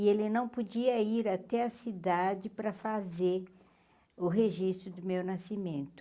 E ele não podia ir até a cidade para fazer o registro do meu nascimento.